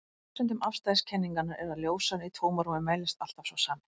Ein af forsendum afstæðiskenningarinnar er að ljóshraðinn í tómarúmi mælist alltaf sá sami.